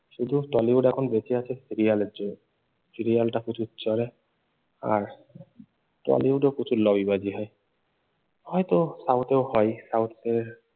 শুধু টলিউড এখন বেঁচে আছে serial এর জোরে serial টা প্রচুর চলে আর টলিউডেও প্রচুর লবিবাজি হয় হয়তো সাউথেও হয়।